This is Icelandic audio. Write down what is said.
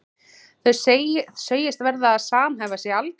Þau segjast verða að samhæfa sig algjörlega.